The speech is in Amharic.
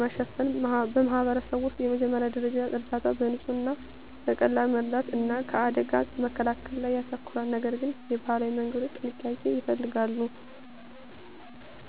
ማሸፈን በማኅበረሰብ ውስጥ የመጀመሪያ ደረጃ እርዳታ በንጽህና፣ በቀላል መርዳት እና ከአደጋ መከላከል ላይ ያተኮራል፤ ነገር ግን የባህላዊ መንገዶች ጥንቃቄ ይፈልጋሉ።